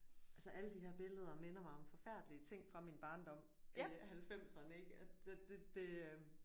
Altså alle de her billeder minder mig om forfærdelige ting fra min barndom øh halvfemserne ik at det det øh